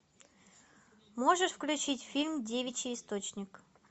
можешь включить фильм девичий источник